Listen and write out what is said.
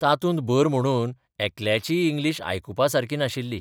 तातूंत भर म्हणून एकल्याचीय इंग्लिश आयकुपासारकी नाशिल्ली.